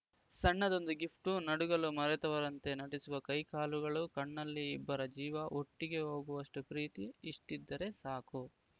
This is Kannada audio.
ಸಣ್ಣದೊಂದು ಗಿಫ್ಟು ನಡುಗಲು ಮರೆತವರಂತೆ ನಟಿಸುವ ಕೈಕಾಲುಗಳು ಕಣ್ಣಲ್ಲಿ ಇಬ್ಬರ ಜೀವ ಒಟ್ಟಿಗೆ ಹೋಗುವಷ್ಟುಪ್ರೀತಿಇಷ್ಟಿದ್ದರೆ ಸಾಕು